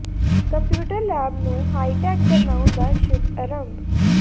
computer lab ਨੂੰ high tech ਬਣਾਉਣ ਦਾ ਸ਼ੁੱਭ ਅਰੰਭ